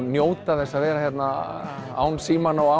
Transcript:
njóta þess að vera hérna án símanna og